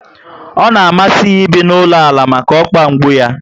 Ọ na amasi ya ibi n'ala ụlọ maka okpa mgbu yá